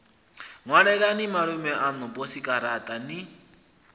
ṅwalelani malume aṋu posikaraṱa ni